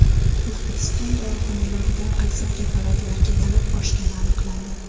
O‘zbekiston dorixonalarida qaysi preparatlarga talab oshgani aniqlandi.